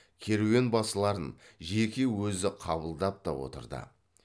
керуенбасыларын жеке өзі қабылдап та отырды